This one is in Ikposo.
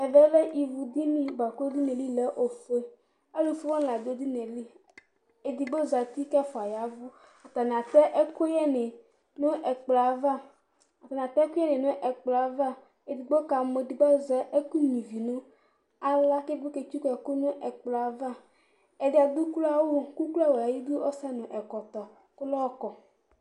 Ɛvɛ lɛ ivudini bʋa kʋ edini yɛ li lɛ ofue Alʋfue wanɩ la dʋ edini yɛ li Edigbo zati kʋ ɛfʋa ya ɛvʋ Atanɩ atɛ ɛkʋyɛnɩ nʋ ɛkplɔ yɛ ava, atanɩ atɛ ɛkʋyɛnɩ nʋ ɛkplɔ yɛ ava Edigbo kamɔ, edigbo azɛ ɛkʋnyuǝ ivi nʋ aɣla kʋ edigbo ketsuku ɛkʋ nʋ ɛkplɔ yɛ ava Ɛdɩ adʋ ukloawʋ kʋ ukloawʋ yɛ ayidu, ɔsɛ nʋ ɛkɔtɔ kʋ ayɔkɔ